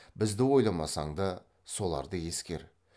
бізді ойламасаң да соларды ескер